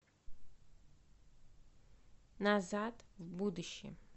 назад в будущее